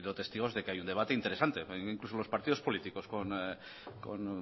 testigos de que hay un debate interesante incluso los partidos políticos con